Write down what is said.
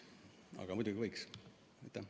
Aga seda võiks teha.